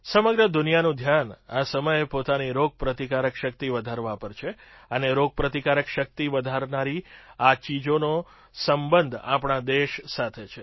સમગ્ર દુનિયાનું ધ્યાન આ સમયે પોતાની રોગપ્રતિકારક શક્તિ વધારવા પર છે અને રોગપ્રતિકારક શક્તિ વધારનારી આ ચીજોનો સંબંધ આપણા દેશ સાથે છે